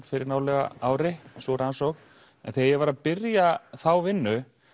fyrir nálega ári sú rannsókn en þegar ég var að byrja þá vinnu